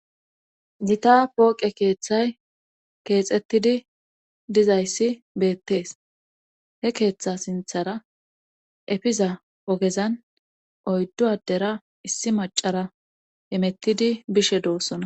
Gita pooqe keeththay keexettidi dizayssi beettees he keeththa sinthara efiza ogezan oyddu adera issi macara emettidi bishe doossona.